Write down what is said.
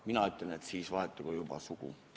Mina ütlen, et siis vahetagu juba sugu.